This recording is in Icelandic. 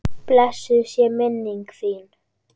Blessuð sé minning þín!